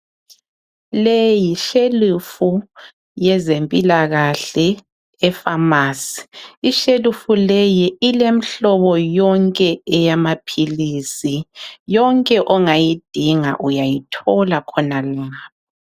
Leyi yishelufu yezempilakahle epharmacy .Ishelufu leyi ile mhlobo yonke elamaphilisi epharmacy .Yonke ongayidinga uyayithola khonalapha.